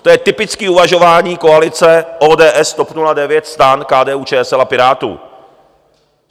To je typické uvažování koalice ODS, TOP 09, STAN, KDU-ČSL a Pirátů.